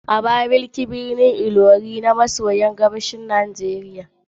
Abakaliki babban birnin jihar Ebonyi ne a kudu maso gabashin Najeriya